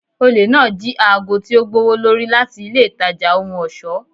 Ole naa ji aago ti o gbowolori lati ile itaja ohun ọṣọ.